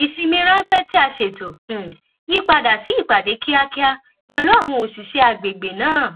ìsinmi ránpẹ tí a ṣètò um yí padà sí ìpàdé kíákíá pèlú àwọn òṣìṣé àgbègbè náà